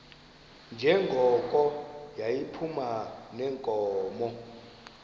njengoko yayiphuma neenkomo